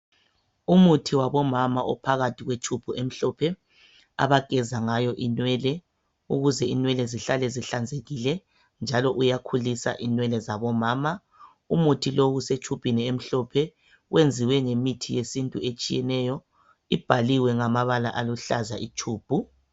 Umuthi wabomama ophakathi kwetshubhu emhlophe. Abageza ngayo inwele ukuze inwele zihlale zihlanzekile .Njalo uyakhulisa inwele zabomama. umuthi lo usetshubhini emhlophe, uyenziwe ngemithi yesintu etshiyeneyo. Ibhaliwe ngamabala aluhlaza itshubhu.